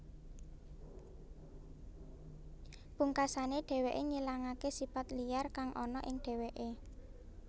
Pungkasané dheweké ngilangaké sipat liyar kang ana ing dheweké